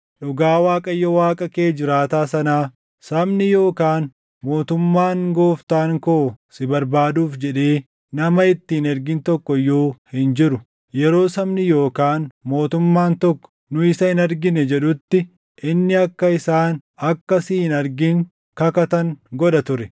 Dhugaa Waaqayyo Waaqa kee jiraataa sanaa, sabni yookaan mootummaan gooftaan koo si barbaaduuf jedhee nama itti hin ergin tokko iyyuu hin jiru. Yeroo sabni yookaan mootummaan tokko, ‘Nu isa hin argine’ jedhutti, inni akka isaan akka si hin argin kakatan godha ture.